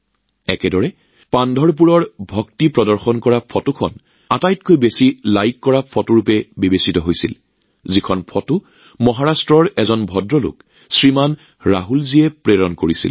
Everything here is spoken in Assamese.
একেদৰে মহাৰাষ্ট্ৰৰ এজন ভদ্ৰলোক শ্ৰীমান ৰাহুল জীয়ে প্ৰেৰণ কৰা আটাইতকৈ জনপ্ৰিয় ফটোখনত পান্ধৰপুৰৰ ভক্তি প্ৰদৰ্শন কৰা এখন ফটো সন্নিবিষ্ট কৰা হৈছিল